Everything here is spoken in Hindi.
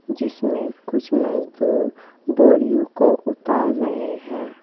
जिसमें कुछ मजदूर बोरियो को उतार रहे हैं।